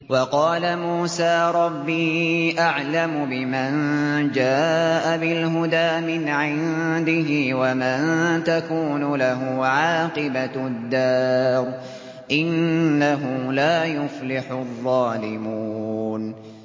وَقَالَ مُوسَىٰ رَبِّي أَعْلَمُ بِمَن جَاءَ بِالْهُدَىٰ مِنْ عِندِهِ وَمَن تَكُونُ لَهُ عَاقِبَةُ الدَّارِ ۖ إِنَّهُ لَا يُفْلِحُ الظَّالِمُونَ